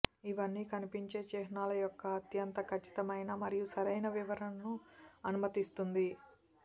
ఇవన్నీ కనిపించే చిహ్నాల యొక్క అత్యంత ఖచ్చితమైన మరియు సరైన వివరణను అనుమతిస్తుంది